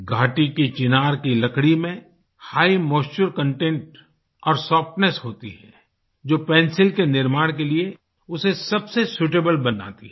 घाटी की चिनार की लकड़ी में हिघ मॉइश्चर कंटेंट और सॉफ्टनेस होती है जो पेंसिल के निर्माण के लिए उसे सबसे सूटेबल बनाती है